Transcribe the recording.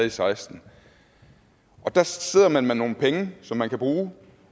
og seksten og der sidder man med nogle penge som man kan bruge